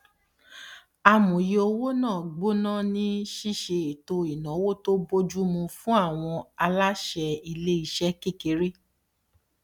amòye owó náà gbóná ní ṣiṣe ètò ináwó tó bójú mu fún àwọn aláṣẹ ilé iṣẹ kékeré